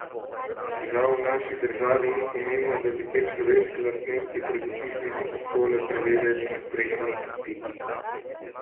A žal v naši državi ni pomembno, da bi te človeške lastnosti pred vpisom v šole preverjali na sprejemnih izpitih.